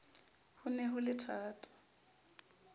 ho ne ho le thata